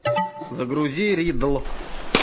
загрузи риддл